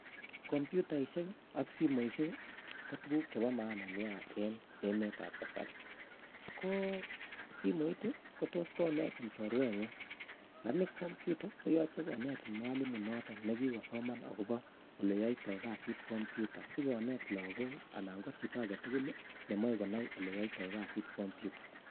Komyutaisiek ak simoisiek ko tuguuk chebo maana eng emetab kasari. Ko simoit kotos konetin chorwengung lakini kompyuta koyoche konetin mwalimu neingen akobo eleyoito kasit komyuta sikoneet lagook anan ko chito agetugul nemoe konai oleyoito kasit kompyuta